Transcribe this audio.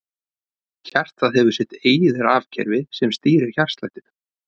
Hjartað hefur sitt eigið rafkerfi sem stýrir hjartslættinum.